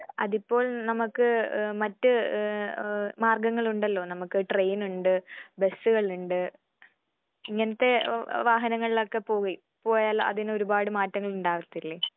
അതിപ്പോൾ നമക്ക് മറ്റ് ഏഹ് മാർഗങ്ങളുണ്ടല്ലോ നമുക്ക് ട്രെയിനുണ്ട്, ബസുകളുണ്ട് ഇങ്ങനത്തെ വേ വാഹനങ്ങളിലൊക്കെ പോയി പോയാൽ അതിന് ഒരുപാട് മാറ്റങ്ങൾ ഉണ്ടാവാത്തില്ലേ?